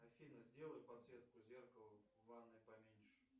афина сделай подсветку зеркала в ванной поменьше